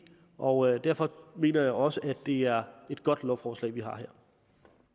og derfor mener jeg også at det er et godt lovforslag vi har fremsat her